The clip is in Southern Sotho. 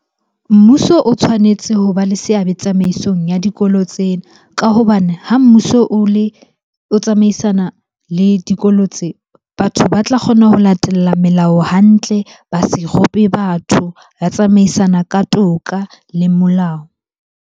Mmuso o tshwanetse ho ba le seabe tsamaisong ya dikolo tsena. Ka hobane ha mmuso o le, o tsamaisana le dikolo tse. Batho ba tla kgona ho latella melao hantle, ba se rope batho, ba tsamaisana ka toka le molao.